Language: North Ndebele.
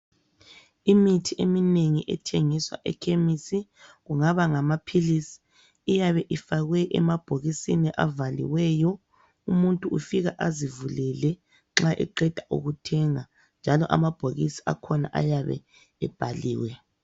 Imithi eminengi ethengiswa ekhemisi, kungaba ngamaphilisi, iyabe ifakwe emabhokisini avaliweyo. Umuntu ufika azivulele nxa eqeda ukuthenga, njalo amabhokisi akhona ayabe ebhailwe.